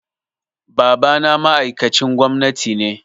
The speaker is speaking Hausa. Babana ma'aikacin gwamnati ne.